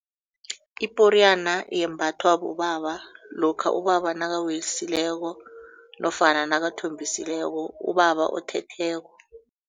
Iporiyana yembathwa bobaba lokha ubaba nofana nakathombisileko ubaba othetheko.